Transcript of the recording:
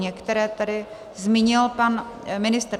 Některé tady zmínil pan ministr.